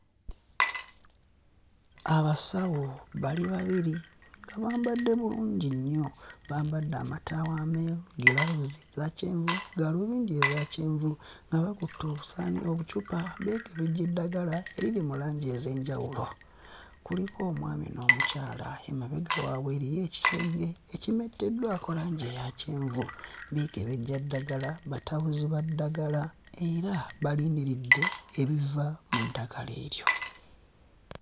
Abasawo bali babiri bambadde bulungi nnyo, bambadde amataawo emeeru giraavuzi zakyenvu gaalubindi ezakyenvu nga bakutte obusaani obucupa beekebejja eddagala eriri mu langi ez'enjawulo. Kuliko omwami n'omukyala emabega waabwe eriyo ekisenge ekimetteddwako langi eya kyenvu, beekebejja ddagala batabuzi ba ddagala era balindiridde ebiva mu ddagala eryo.